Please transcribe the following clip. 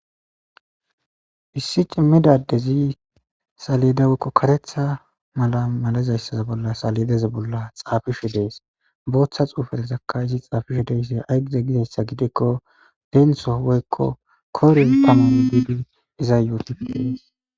Hissi cimmidadezi saledawekko karetha mala malezayssaza bolla salideza bolla xaafishu dees booththa xuufelezakka izi xaafishu deysi aygize gizayssa gidekko deentso woykko kore pamon biibi iza yooti.